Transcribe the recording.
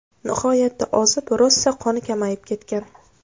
Nihoyatda ozib, rosa qoni kamayib ketgan.